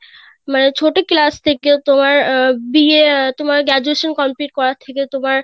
মানে ছোট class থেকে তোমার আহ বা আহ তোমার graduation complete করা থেকে তোমার